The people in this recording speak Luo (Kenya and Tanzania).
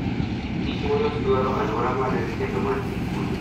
Kich molos dwaro aluora maler kendo mangi kwe.